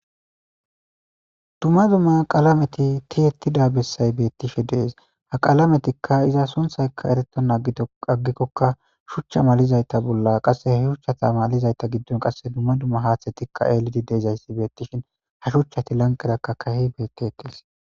dumma dumma qalameti ti ettida bessay beettishe dees ha qalametikka iza sonthaykka ereto nagito aggikkokka shuchcha malizayta bolla qasse ha shuchchata malizayta giddon qasse dumma dumma haathatikka eelidi dezayssi beettishin ha shuchchati lanqerakka kahi beete ekees